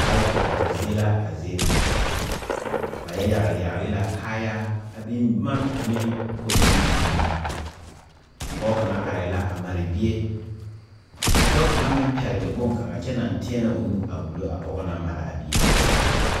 Kaayɛkoɔre zie la a zie ŋa ba yɛ yagle yagle la kaayaa a biŋ boma ane kobilii mine meŋ pɔge kaŋa arɛɛ la a mare bie ka dɔɔ kaŋa meŋ pɛgle bonkaŋa kyɛ naŋ teɛnɛ o nu a wullo a pɔge naŋ mare a bie.